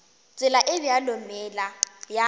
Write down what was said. tsela e bjalo meela ya